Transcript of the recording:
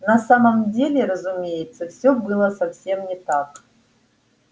на самом деле разумеется все было совсем не так